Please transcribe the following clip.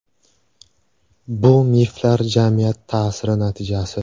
Bu miflar jamiyat ta’siri natijasi.